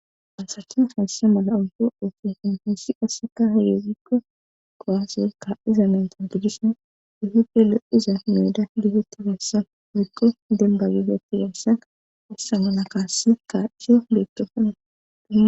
Pansatin haysse mala oldo ootunfan heyssi qasseka hiyeziggo gowaseykka iza mentanguddishen ihipe le7iza meeda gifetti fessa rikqo demba gifeti deysaa assamana kaasse kaadiso leeqdofana.